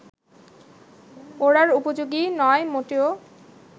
ওড়ার উপযোগী নয় মোটেও